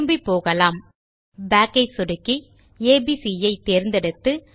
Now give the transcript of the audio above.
திரும்பிப்போகலாம் back ஐ சொடுக்கி ABC ஐ தேர்ந்தெடுத்து